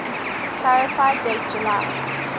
clarify date july